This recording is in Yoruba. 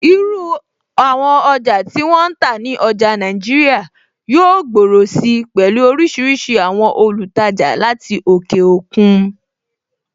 Irú àwọn ọjà tí wọ́n ń tà ní ọjà Nàìjíríà yóò gbòòrò si pẹ̀lú oríṣiríṣi àwọn olùtajà láti òkè òkun.